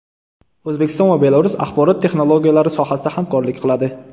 O‘zbekiston va Belarus axborot texnologiyalari sohasida hamkorlik qiladi.